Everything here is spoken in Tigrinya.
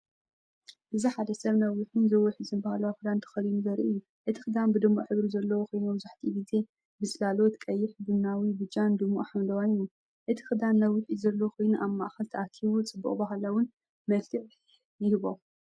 እዚ ሓደ ሰብ ነዊሕን ዝውሕዝን ባህላዊ ክዳን ተኸዲኑ ዘርኢ እዩ። እቲ ክዳን ብድሙቕ ሕብሪ ዘለዎ ኮይኑ፡ መብዛሕትኡ ግዜ ብጽላሎት ቀይሕ፡ቡናዊ፡ ብጫን ድሙቕ ሐምላይን እዩ። እቲ ክዳን ነዊሕ ኢድ ዘለዎ ኮይኑ ኣብ ማእከል ተኣኪቡ ጽቡቕን ባህላውን መልክዕ ይህቦ።